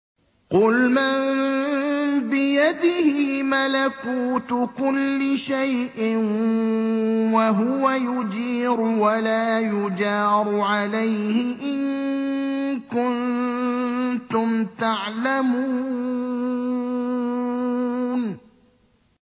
قُلْ مَن بِيَدِهِ مَلَكُوتُ كُلِّ شَيْءٍ وَهُوَ يُجِيرُ وَلَا يُجَارُ عَلَيْهِ إِن كُنتُمْ تَعْلَمُونَ